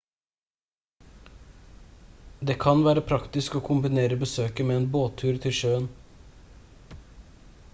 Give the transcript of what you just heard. det kan være praktisk å kombinere besøket med en båttur til sjøen